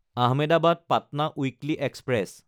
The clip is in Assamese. Ahmedabad-Patna weekly express